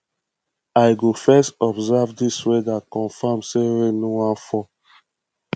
i go first observe dis weather confirm sey rain no wan fall